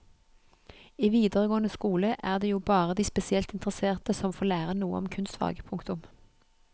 I videregående skole er det jo bare de spesielt interesserte som får lære noe om kunstfag. punktum